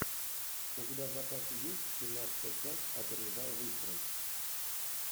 у тебя в запасе есть семнадцатая часть опережая выстрел